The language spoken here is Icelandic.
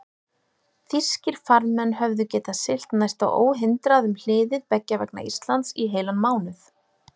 Þýskir farmenn höfðu getað siglt næsta óhindrað um hliðið beggja vegna Íslands í heilan mánuð.